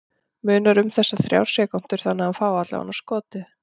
Munar um þessar þrjár sekúndur þannig að hann fái allavega skotið?